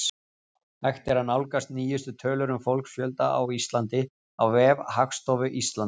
Hægt er að nálgast nýjustu tölur um fólksfjölda á Íslandi á vef Hagstofu Íslands.